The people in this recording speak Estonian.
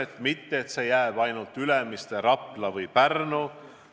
Ei ole vaja piirduda ainult Ülemiste, Rapla või Pärnuga.